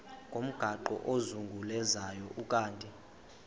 ngomgaqo ozungulezayo ukanti